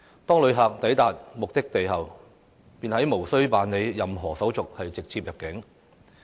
當旅客抵達目的地後，便無須辦理任何手續直接入境。